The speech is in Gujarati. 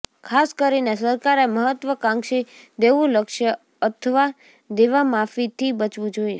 ખાસ કરીને સરકારે મહત્વકાંક્ષી દેવું લક્ષ્ય અથવા દેવામાફીથી બચવું જોઇએ